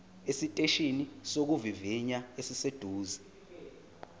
esiteshini sokuvivinya esiseduze